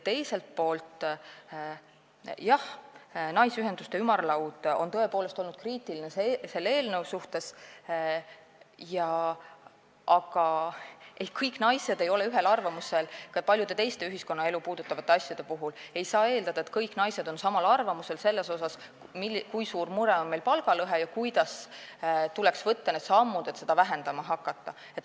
Teiselt poolt, jah, Eesti Naisteühenduste Ümarlaud on tõepoolest olnud selle eelnõu suhtes kriitiline, aga kõik naised ei ole ühel arvamusel ka paljude teiste ühiskonnaelu asjade puhul ning ei saa eeldada, et kõik naised on samal arvamusel selles, kui suur mure on meil palgalõhe ja kuidas tuleks teha neid samme, et seda vähendama hakata.